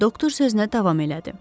Doktor sözünə davam elədi.